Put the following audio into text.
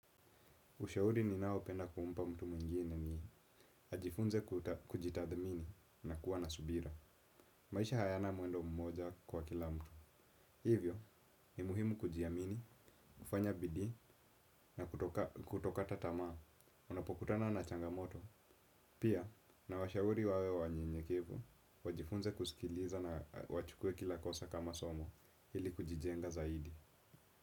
Ushauri ninaopenda kumpa mtu mwingine ni ajifunze kujitathmini na kuwa na subira. Maisha hayana mwendo mmoja kwa kila mtu. Hivyo, ni muhimu kujiamini, kufanya bidii na kutokata tamaa. Unapokutana na changamoto. Pia, nawashahuri wawe wanyenyekevu, wajifunze kusikiliza na wachukue kila kosa kama somo, hili kujijenga zaidi.